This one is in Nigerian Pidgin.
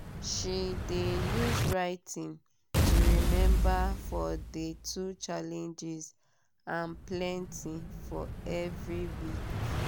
she de use writing to remember for de two challenges and plenty for every every week.